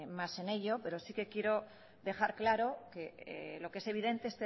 más en ello pero sí que quiero dejar claro que lo que es evidente